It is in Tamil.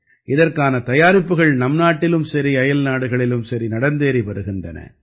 இதற்கான தயாரிப்புக்கள் நம்நாட்டிலும் சரி அயல்நாடுகளிலும் சரி நடந்தேறி வருகின்றன